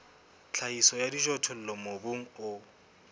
tlhahiso ya dijothollo mobung o